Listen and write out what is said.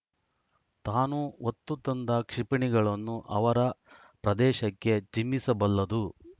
ತಾನು ಹೊತ್ತು ತಂದ ಕ್ಷಿಪಣಿಗಳನ್ನು ಅವರ ಪ್ರದೇಶಕ್ಕೆ ಚಿಮ್ಮಿಸಬಲ್ಲದು